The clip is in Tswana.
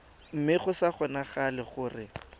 mme go sa kgonagale gore